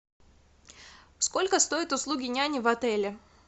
сколько стоят услуги няни в отеле